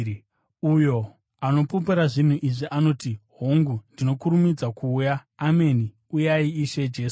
Uyo anopupura zvinhu izvi anoti, “Hongu, ndinokurumidza kuuya.” Ameni. Uyai, Ishe Jesu.